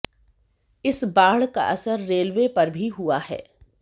इस बाढ़ का असर रेलवे पर भी हुआ है